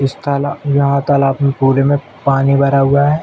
इस ताला यहाँ तालाब में पूरे में पानी भरा हुआ है।